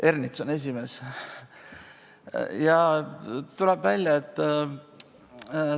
Ernits on selle esimees.